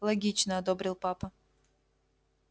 логично одобрил папа